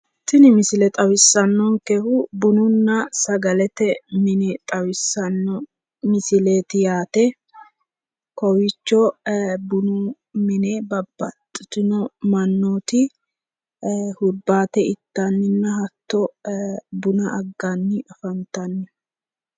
Tini misile xawissannonkehu bununna sagalete mine xawissanno misileeti yaate kowiicho bunu mine babbaxitino mannooti hurbaate ittanninna hatto buna agganni afantanno.